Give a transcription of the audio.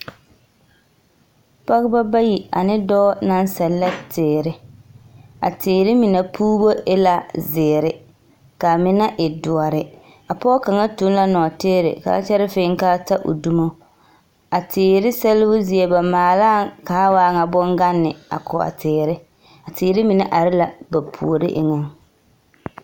Pͻgebͻ bayi ane dͻͻ naŋ sԑllԑ teere. A teere mine puubu e la zeere kaa mine e dõõre. A pͻge kaŋa eŋ la nͻͻteere ka a kyԑre fēē ka a ta o dumo. A teere sԑlebo zie, ba maalaa ka a waa ŋa boŋganne a ko a teere. A teere mine are la ba puori eŋԑŋ.